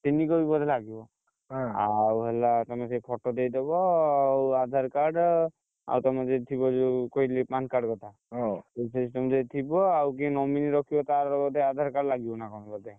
ତିନି copy ବୋଧେ ଲାଗିବ। ଆଉ ହେଲା ତମେ ସେ photo ଦେଇଦବ ଆଉ ଆଧାର card , ଆଉ ତମର ଯଦି ଥିବା ଯୋଉ କହିଲି PAN card କଥା ଆଉ ଯିଏ nominee ରଖିବ ତାର ଗୋଟେ ଆଧାର card ଲାଗିବ ନା କଣ ବୋଧେ!